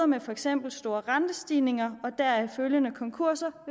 med for eksempel store rentestigninger og deraf følgende konkurser